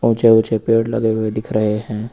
ऊंचे ऊंचे पेड़ लगे हुए दिख रहे हैं।